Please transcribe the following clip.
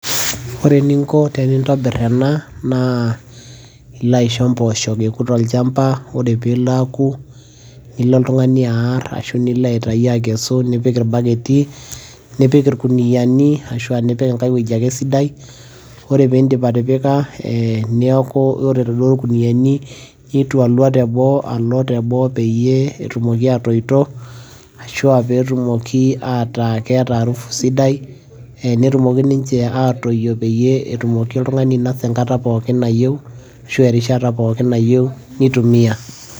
ore eninko tenintobir ena naa ilo aisho impooshok eku tolchampa. ore peelo aaku nilo oltungani aar, ashu nilo aikesu niik irbaketi. nipik irkuniyiani ashu nipik enkae wueji ake sidai, ore pee iidip atipika, neeku ore iladuo kuniyiani nitolua teboo, peyie etumoki aatoito. ashu aa pee etumoki ataa keetaa arufu sidai. netumoki ninche atoyio peyie etumoki oltungani ainosa enkata pookin nayieu ashu erishata pookin nayieu nitumia.